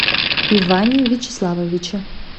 иване вячеславовиче